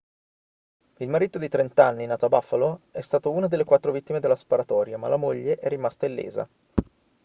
il marito di 30 anni nato a buffalo è stato una delle quattro vittime della sparatoria ma la moglie è rimasta illesa